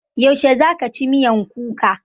Yaushe za ka ci miyan kuka?